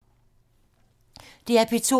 DR P2